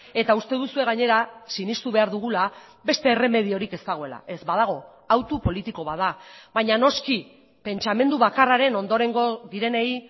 eta uste duzue gainera sinestu behar dugula beste erremediorik ez dagoela ez badago autu politiko bat da baina noski pentsamendu bakarraren ondorengo direnei